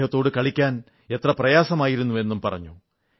അദ്ദേഹത്തോടു കളിക്കാൻ എത്ര പ്രയാസമായിരുന്നു എന്നും പറഞ്ഞു